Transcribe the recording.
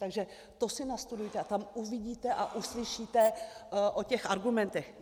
Takže to si nastudujte a tam uvidíte a uslyšíte o těch argumentech.